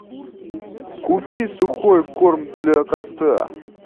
купи сухой корм для кота